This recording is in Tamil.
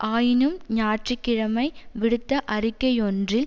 ஆயினும் ஞாயிற்று கிழமை விடுத்த அறிக்கையொன்றில்